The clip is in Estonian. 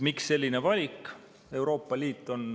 Miks selline valik?